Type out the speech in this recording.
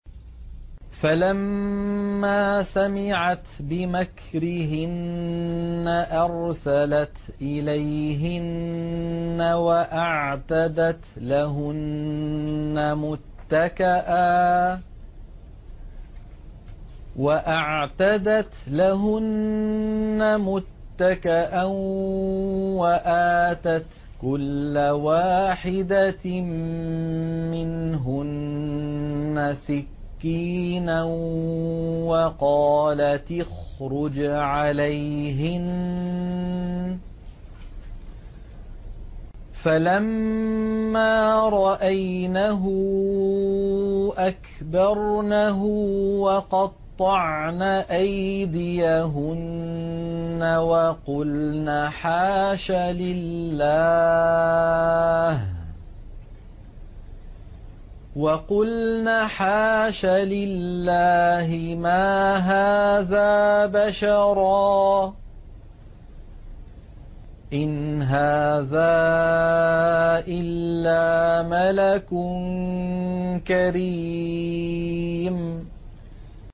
فَلَمَّا سَمِعَتْ بِمَكْرِهِنَّ أَرْسَلَتْ إِلَيْهِنَّ وَأَعْتَدَتْ لَهُنَّ مُتَّكَأً وَآتَتْ كُلَّ وَاحِدَةٍ مِّنْهُنَّ سِكِّينًا وَقَالَتِ اخْرُجْ عَلَيْهِنَّ ۖ فَلَمَّا رَأَيْنَهُ أَكْبَرْنَهُ وَقَطَّعْنَ أَيْدِيَهُنَّ وَقُلْنَ حَاشَ لِلَّهِ مَا هَٰذَا بَشَرًا إِنْ هَٰذَا إِلَّا مَلَكٌ كَرِيمٌ